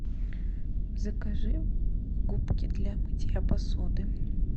закажи губки для мытья посуды